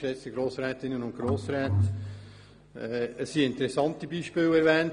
Es wurden interessante Beispiele erwähnt.